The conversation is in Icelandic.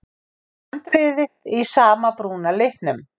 Handriðið í sama brúna litnum.